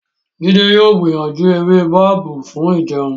Jide yóò gbìyànjú ewé babú fún ìjẹun.